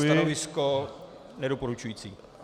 Stanovisko nedoporučující.